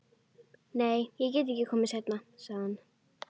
Nei, ég get ekki komið seinna, sagði hann.